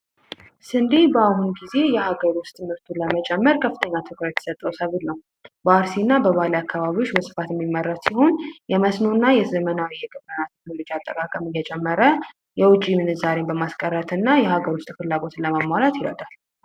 ስንዴ በአሁኑ ጊዜ የሀገር ውስጥ ምርትን ለመጨመር ከፍተኛ ትኩረት የተሰጠው ሰብል ነው። ይህም በፋሲልና በባሌ አካባቢዎች በስፋት የሚመረጥ ሲሆን የመስኖና የዘመናዊ የግብርና አጠቃቀም እየጨመረ ምንዛሬ ለማስቀረትና የሀገር ውስጥ ፍላጎትን ለማሟላት ይረዳል።